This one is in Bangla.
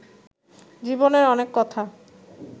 জীবনের অনেক কথা